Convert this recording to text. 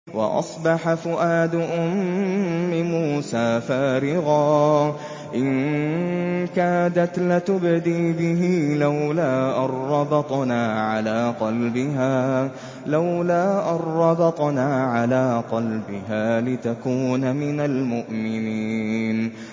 وَأَصْبَحَ فُؤَادُ أُمِّ مُوسَىٰ فَارِغًا ۖ إِن كَادَتْ لَتُبْدِي بِهِ لَوْلَا أَن رَّبَطْنَا عَلَىٰ قَلْبِهَا لِتَكُونَ مِنَ الْمُؤْمِنِينَ